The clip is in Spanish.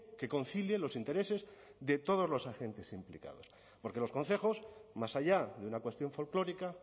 que concilie los intereses de todos los agentes implicados porque los concejos más allá de una cuestión folclórica